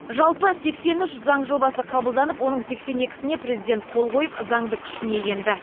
жалпы сексен үш заң жобасы қабылданып оның сексен екісіне президент қол қойып заңды күшіне енді